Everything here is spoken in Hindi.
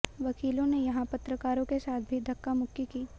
वकीलों ने यहां पत्रकारों के साथ भी धक्कामुक्की की